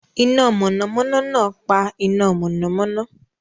Iná mọ̀nàmọ́ná náà pa iná mọ̀nàmọ́ná.